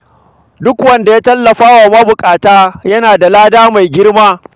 Duk wanda ya tallafawa marasa galihu yana da lada mai girma.